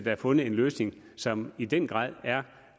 er fundet en løsning som i den grad er